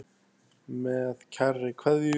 Með kærri kveðju.